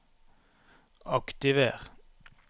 aktiver